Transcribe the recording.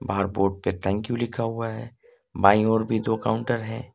बाहर बोर्ड पर thank you लिखा हुआ है बाईं ओर भी दो काउंटर है।